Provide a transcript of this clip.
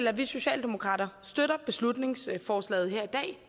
at vi socialdemokrater støtter beslutningsforslaget her